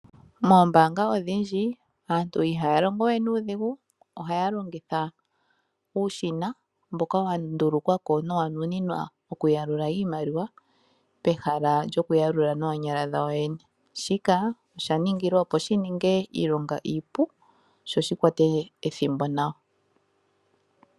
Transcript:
Moombaanga odhindji aantu ihaya longo we nuudhigu ohaya longitha uushina mboka wandulukwako nowa nuninwa oku yalula iimaliwa pehala lyoku yalula noonyala dhawo yoyene. Shika osha ningilwa opo shininge iilonga iipu sho shikwate ethimbo nawa.